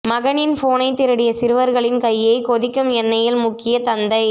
மகனின் போனை திருடிய சிறுவர்களின் கையை கொதிக்கும் எண்ணையில் முக்கிய தந்தை